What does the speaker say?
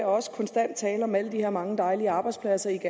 også konstant tale om alle de her mange dejlige arbejdspladser